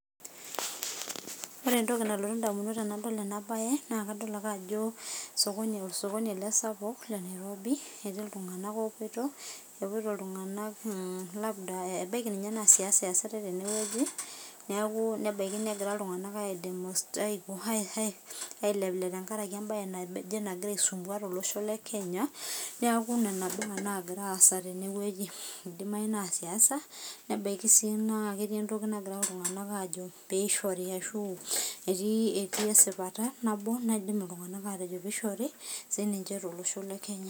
Ore entoki nalotu indamunot tenadol enabae, na kadol ake ajo osokoni ele sapuk le Nairobi, ketii iltung'anak opoito, epoito iltung'anak labda ebaiki ninye naa siasa eesitai tenewueji, neeku nebaiki negira iltung'anak aileplep tenkaraki ebae naijo enagira aisumbua tolosho le Kenya, neeku nena baa nagira aasa tenewueji. Idimayu naa siasa, nebaiki si naa ketii entoki nagira iltung'anak ajo pishori ashu, etii esipata nabo naidim iltung'anak atejo pishori sininche tolosho le Kenya.